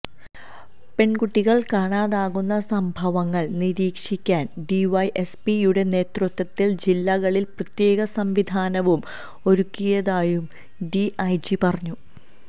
പെൺകുട്ടികൾ കാണാതാകുന്ന സംഭവങ്ങൾ നിരീക്ഷിക്കാൻ ഡിവൈഎസ്പി യുടെ നേതൃത്ത്വത്തിൽ ജില്ലകളിൽ പ്രത്യേക സംവിധാനവും ഒരുക്കിയിയതായും ഡി ഐജി പറഞ്ഞു